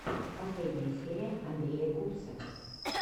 последняя серия андрея гупсы